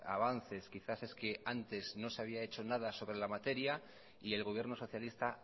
avances quizás es que antes no se había hecho nada sobre la materia y el gobierno socialista